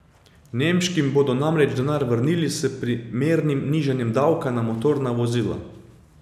Nemškim bodo namreč denar vrnili s primernim nižanjem davka na motorna vozila.